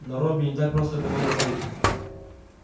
но робби не так просто было уговорить